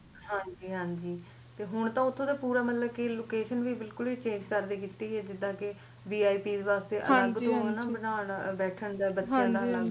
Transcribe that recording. ਹਾਂਜੀ ਹਾਂਜੀ ਹੁਣ ਤਾ ਓਥੇ ਮਤਲਬ ਕ location ਵੀ ਬਿਲਕੁੱਲ ਈ change ਕਰਤੀ ਹੋਈ ਏ ਜਿੰਦਾ ਕ Vip ਵਾਸਤੇ ਅਲੱਗ ਤੋਂ ਬਣਾਉਣਾ ਬੈਠਣ ਤੇ ਬੱਚਿਆਂ ਦਾ ਅੱਲਗ